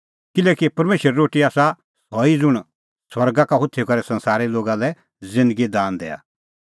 किल्हैकि परमेशरे रोटी आसा सह ई ज़ुंण स्वर्गा होथी करै संसारे लोगा लै ज़िन्दगी दान दैआ